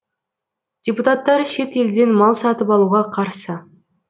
депутаттар шет елден мал сатып алуға қарсы